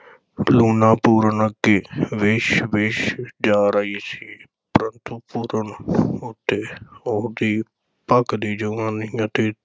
ਲੂਣਾਂ ਪੂਰਨ ਅੱਗੇ ਵਿੱਛ-ਵਿੱਛ ਜਾ ਰਹੀ ਸੀ ਪ੍ਰੰਤੂ ਪੂਰਨ ਉੱਤੇ ਉਹਦੀ ਭਖਦੀ ਜੁਆਨੀ ਅਤੇ